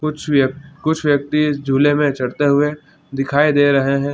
कुछ व्यक कुछ व्यक्ति इस झूले में चढ़ते हुए दिखाई दे रहे हैं।